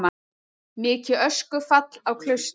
Mikið öskufall á Klaustri